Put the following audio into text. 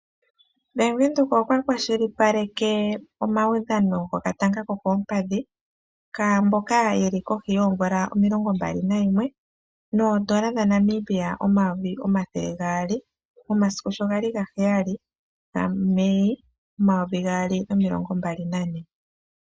Bank Windhoek okwa kwashilipaleke omaudhano gokatanga kokoompadhi kaamboka yeli kohi yoomvula omilongo mbali nayimwe noodola dhaNamibia omayovi omathele gaali momasiku sho gali gaheyali gaMei omayovi gaali nomilongo mbali nane.